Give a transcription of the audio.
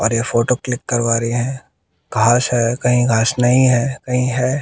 और ये photo click करवा री है घास है कही घास नई है कही है।